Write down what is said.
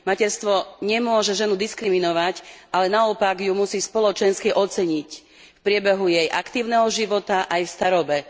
Materstvo nemôže ženu diskriminovať, ale naopak ju musí spoločensky oceniť v priebehu jej aktívneho života aj v starobe.